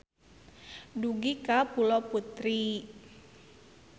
Dugi ka Pulo Putri.